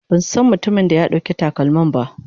Ban san mutumin da ya ɗauki takalmin ba.